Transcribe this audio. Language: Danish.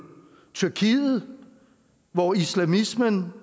tyrkiet hvor islamismen